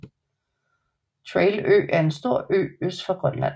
Traill Ø er en stor ø øst for Grønland